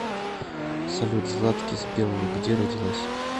салют златкис белла где родилась